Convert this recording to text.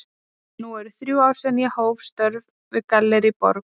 Nú eru þrjú ár síðan ég hóf störf við Gallerí Borg.